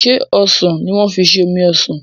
ṣe osàn ní wan fí ṣe omí osán?